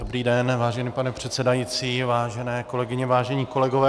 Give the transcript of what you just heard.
Dobrý den, vážený pane předsedající, vážené kolegyně, vážení kolegové.